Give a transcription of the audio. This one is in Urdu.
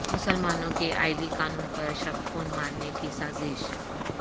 مسلمانوں کے عائلی قانون پر شب خون مارنے کی سازش